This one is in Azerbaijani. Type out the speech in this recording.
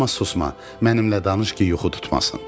Amma susma, mənimlə danış ki, yuxu tutmasın.